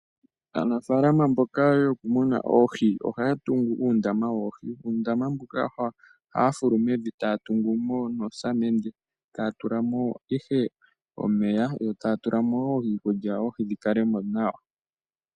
Aanafaalama mboka yokumuna oohi ohaya tungu uundama woohi. Uundama mbuka ohaya fulu mevi e taya tungu mo nosamende, e taya tula mo ihe omeya yo taya tula mo wo iikulya oohi dhi kale mo nawa.